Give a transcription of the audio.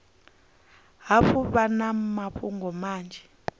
hafhu vha na mafhungo manzhi